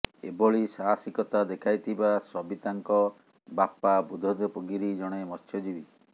ଏଭଳି ସାହସିକତା ଦେଖାଇଥିବା ସବିତାଙ୍କ ବାପା ବୁଦ୍ଧଦେବ ଗିରି ଜଣେ ମତ୍ସ୍ୟଜୀବୀ